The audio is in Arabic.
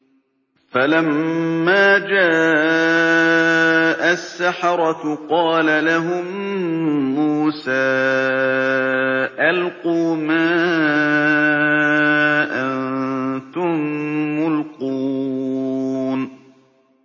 فَلَمَّا جَاءَ السَّحَرَةُ قَالَ لَهُم مُّوسَىٰ أَلْقُوا مَا أَنتُم مُّلْقُونَ